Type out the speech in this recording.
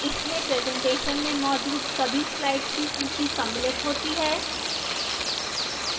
इसमें presentation में मौजूद सभी slides की सूची सम्मिलित होती है